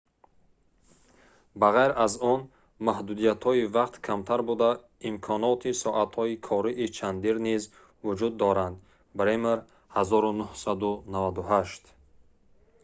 ба ғайр аз он маҳдудиятҳои вақт камтар буда имконоти соатҳои кории чандир низ вуҷуд доранд. бремер 1998